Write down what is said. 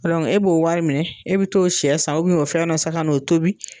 E dɔnku e b'o wari minɛ e bi t'o sɛ san ubɛn o fɛn dɔ san ka n'o tobi